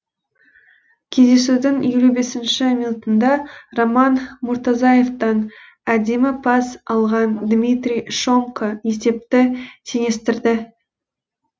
кездесудің елу бесінші минутында роман мұртазаевтан әдемі пас алған дмитрий шомко есепті теңестірді